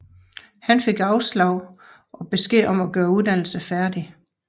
Han fik afslag og besked om at gøre uddannelsen færdig